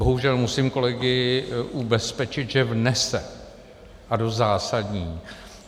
Bohužel musím kolegy ubezpečit, že vnese, a dost zásadní.